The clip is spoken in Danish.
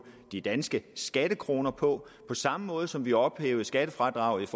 de danske skattekroner på på samme måde som vi ophævede skattefradraget